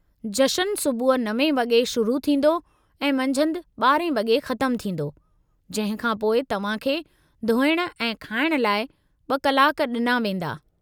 जश्न सुबुहु 9 वॻे शुरू थींदो ऐं मंझंदि 12 वॻे ख़तमु थींदो, जंहिं खां पोइ तव्हां खे धोइण ऐं खाइण लाइ ॿ कलाक ॾिना वेंदा।